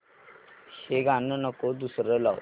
हे गाणं नको दुसरं लाव